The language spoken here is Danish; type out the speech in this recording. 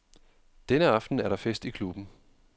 Denne aften er der fest i klubben.